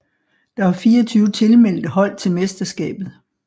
Der er 24 tilmeldte hold til mesterskabet